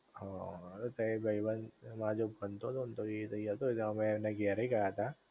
હ તય એક ભાઈબંધ મારી જોડે ભણતો તો એ તય હતો તે અમે તેને ઘેરે ગયા તા